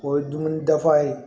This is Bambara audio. O ye dumuni dafa ye